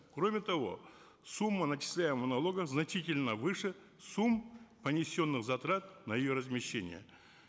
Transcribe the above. кроме того сумма начисляемого налога значительно выше сумм понесенных затрат на ее размещение